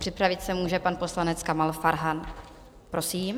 Připravit se může pan poslanec Kamal Farhan, prosím.